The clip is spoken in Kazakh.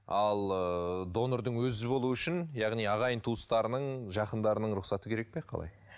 ал ыыы донордың өзі болуы үшін яғни ағайын туыстарының жақындарының рұқсаты керек пе қалай